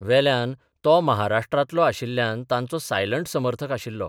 वेल्यान तो महाराष्ट्रांतलो आशिल्ल्यान तांचो सायलंट समर्थक आशिल्लो.